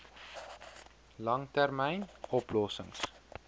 lang termyn oplossings